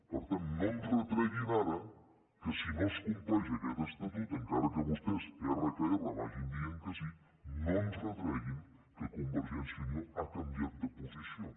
per tant no ens retreguin ara que si no es compleix aquest estatut encara que vostès erra que erra vagin dient que sí no ens retreguin que convergència i unió ha canviat de posició